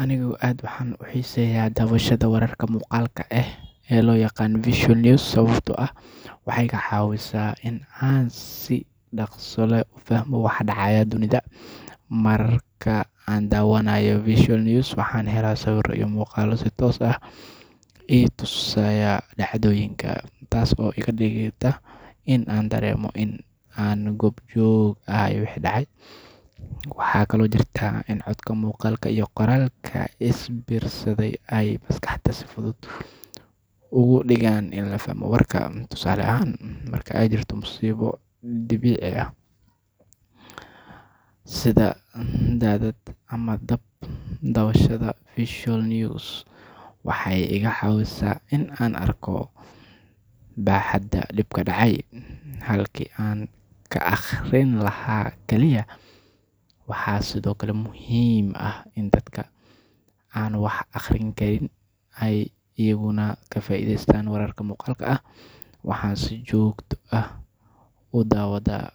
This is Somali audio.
Anigu aad ayaan u xiiseeyaa daawashada wararka muuqaalka ah ee loo yaqaan visual news sababtoo ah waxay iga caawisaa in aan si dhakhso leh u fahmo waxa ka dhacaya dunida. Marka aan daawanayo visual news, waxaan helaa sawirro iyo muuqaallo si toos ah ii tusaya dhacdooyinka, taas oo iga dhigta in aan dareemo in aan goob joog u ahay wixii dhacay. Waxaa kaloo jirta in codka, muuqaalka iyo qoraalka is biirsaday ay maskaxda si fudud uga dhigaan in la fahmo warka. Tusaale ahaan, marka ay jirto musiibo dabiici ah sida daadad ama dab, daawashada visual news waxay iga caawisaa in aan arko baaxadda dhibka dhacay, halkii aan ka akhrin lahaa kaliya. Waxaa sidoo kale muhiim ah in dadka aan wax akhriyin karin ay iyaguna ka faa’iidaystaan wararka muuqaalka ah. Waxaan si joogto ah u daawadaa